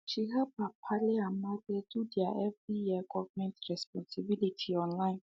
she help her palle and malle do their every year government responsibility online